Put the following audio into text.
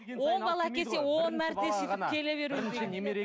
он бала әкелсе он мәрте сөйтіп келе беруі керек пе